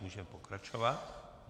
Můžeme pokračovat.